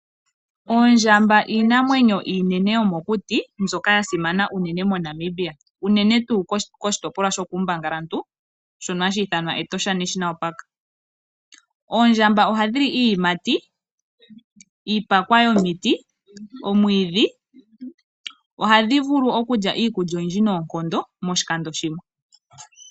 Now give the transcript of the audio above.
Oondjamba iinamwenyo iinene yo mokuti mbyoka ya simana unene moNamibia. Unene tuu koshitopolwa sho kuumbangalantu shono hashi ithanwa Etosha national park. Oondjamba ohadhi li iiyimati, iipakwa yomiti, omwiidhi. Ohadhi vulu okulya iikulya oyindji noonkondo moshikando shimwe.